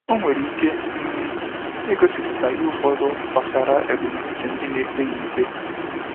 Ọ nwere ike um igosipụta ihe ụfọdụ gbasara ebumnuche ndị na ekpe ya ikpe.